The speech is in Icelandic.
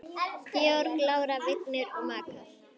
Georg, Lára, Vignir og makar.